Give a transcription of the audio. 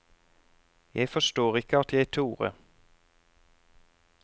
Jeg forstår ikke at jeg torde.